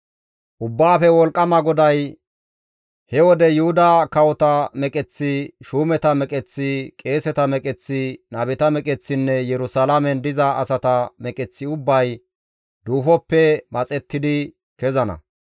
Ubbaafe Wolqqama GODAY, «He woden Yuhuda kawota meqeththi, shuumeta meqeththi, qeeseta meqeththi, nabeta meqeththinne Yerusalaamen diza asata meqeththi ubbay duufoppe maxettidi kezana.